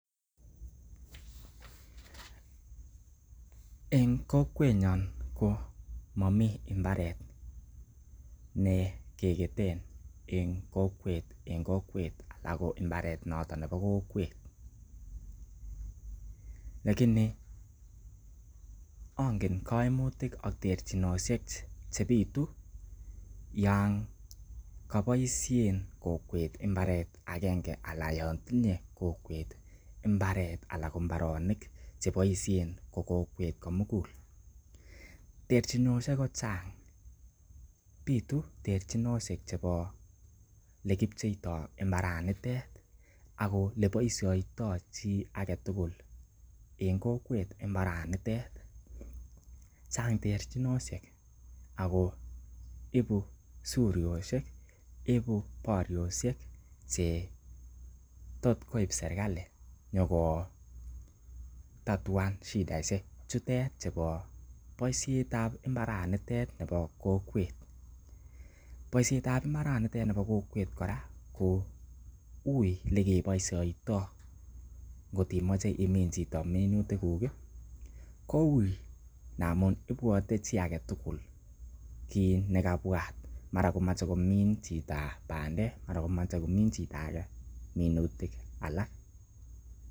En kokwenyon ko momi mbarte ne kegeten en kokwet ala ko imbaret notonnebo kokwet lakini ongeno koimutik ak terchinosiek chebitu yan koboisien kokwet mbarte agenge anan yon tinye kokwet mbaret anan ko mbaronik che boishe ko kokwet komugul. Terchinosiek ko chang bitu terchinosiek chebo le kipcheito mbaranitet ak ole boisioto chi agetugul en kokwet mbaranitet. Chang terchinosiek ago ibu suryosiek, ibu baryosiek che tot koib serkali nyokotatuan shidaishek chebo boisiet ab mbarenitet bo kokwet. Boiset ab mbaranitet nebo kokwet kora ko uiy lekeboisioito kot imoche imin chito minutikuk amun ibwote chi ag etugul kiit nekabwat, mara komoche komin chito bandek, mara komoche age komin minutik alak.